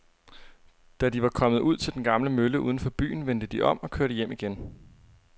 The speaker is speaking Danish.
Da de var kommet ud til den gamle mølle uden for byen, vendte de om og kørte hjem igen.